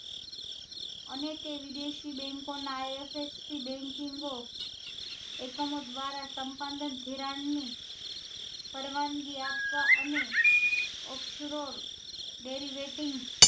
અને તે વિદેશી bank ના ifsc banking ઓ એકમો દ્વારા સંપાદક ધિરાણ ની પરવાનગી આપવા અને